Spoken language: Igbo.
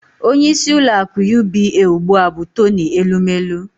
Onyeisi ụlọaku UBA ụgbụa bụ Toni Elumelu